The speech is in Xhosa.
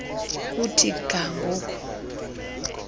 kuthi ga ngoku